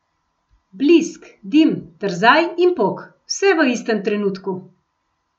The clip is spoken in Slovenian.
Blisk, dim, trzaj in pok, vse v istem trenutku.